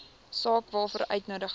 saak waaroor uitnodigings